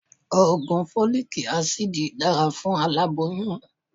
Ògùn Fólíkí asidì dára fún aláboyún.